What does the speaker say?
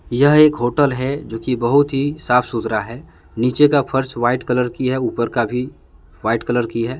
यह एक होटल है जोकि बहुत ही साफ सुथरा है नीचे का फर्श व्हाइट कलर की है ऊपर का भी व्हाइट कलर की है।